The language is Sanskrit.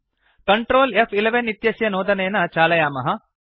कंट्रोल फ्11 इत्यस्य नोदनेन चालयामः